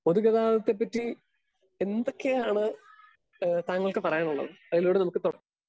Speaker 2 പൊതുഗതാതത്തെപ്പറ്റി എന്തെക്കെയാണ് ഏഹ് താങ്കൾക്ക് പറയാനുള്ളത്? അയിലൂടെ നമുക്ക് തൊട